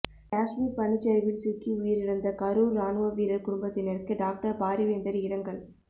காஷ்மீர் பனிச்சரிவில் சிக்கி உயிரிழந்த கரூர் ராணுவ வீரர் குடும்பத்தினருக்கு டாக்டர் பாரிவேந்தர் இரங்கல்